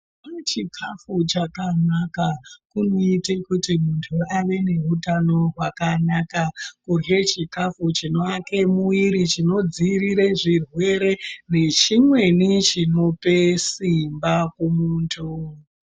Kune chikhafu chakanaka, kunoita kuti munthu ave neutano hwakanaka. Kurye chikhafu chinoake mwiri, chino dziirire zvirwere nechimweni chinope simba kumunthu.